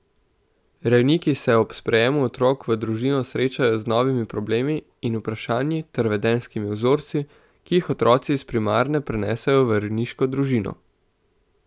Rejniki se ob sprejemu otrok v družino srečajo z novimi problemi in vprašanji ter vedenjskimi vzorci, ki jih otroci iz primarne prenesejo v rejniško družino.